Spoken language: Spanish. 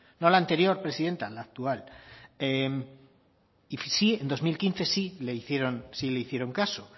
no la anterior presidenta la actual y en dos mil quince sí le hicieron caso